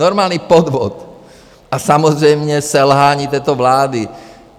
Normální podvod a samozřejmě selhání této vlády.